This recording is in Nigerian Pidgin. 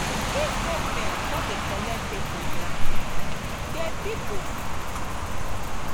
if government come dey collect pipo land anyhow de pipo fit protest